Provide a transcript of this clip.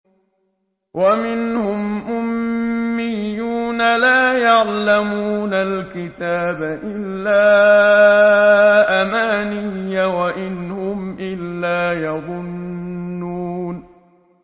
وَمِنْهُمْ أُمِّيُّونَ لَا يَعْلَمُونَ الْكِتَابَ إِلَّا أَمَانِيَّ وَإِنْ هُمْ إِلَّا يَظُنُّونَ